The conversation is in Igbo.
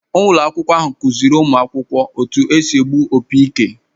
Ụlọ akwụkwọ ahụ kụziiri ụmụ akwụkwọ etu esi egbu opi ike.